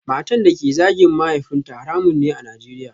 Matan da ke zagin mahaifinta haramun ne a Najeriya